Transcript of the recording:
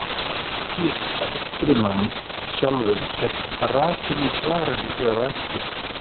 Önnur skýring á upprunanum sjálfum er rakin í svarinu hér á eftir.